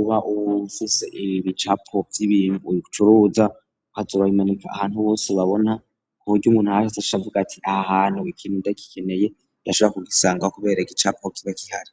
uba uwumfise i bi capobzibinu uyu gucuruza ko azorabimanika ahantu bose babona ku burya umunayese ashavuga ati aha hantu gikintu ndagikeneye ndashara kugisangawa, kubera ig icapobzba kihari.